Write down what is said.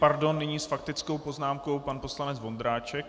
Pardon, nyní s faktickou poznámkou pan poslanec Vondráček.